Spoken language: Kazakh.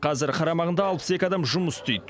қазір қарамағында алпыс екі адам жұмыс істейді